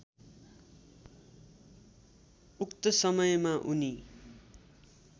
उक्त समयमा उनी